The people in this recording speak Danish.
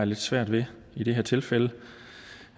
lidt svært ved i det her tilfælde